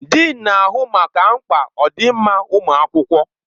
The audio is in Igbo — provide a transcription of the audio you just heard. Dịịn na-ahụ maka mkpa ọdịmma ụmụ akwụkwọ.